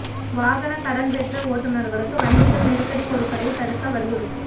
வாகனக் கடன் பெற்ற ஓட்டுநா்களுக்கு வங்கிகள் நெருக்கடி கொடுப்பதைத் தடுக்க வலியுறுத்தல்